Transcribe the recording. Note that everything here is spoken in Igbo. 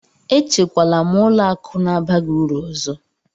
Echekwala m ụlọ akụ na-abaghị uru ọzọ!